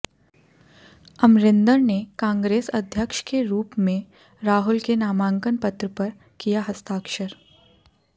अमरिंदर ने कांग्रेस अध्यक्ष के रूप में राहुल के नामांकन पत्र पर किया हस्ताक्षर